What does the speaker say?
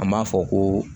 An b'a fɔ ko